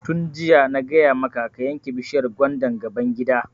Tun jiya na gaya maka ka yanke bishiyar gwandan gaban gida!